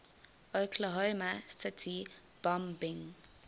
oklahoma city bombing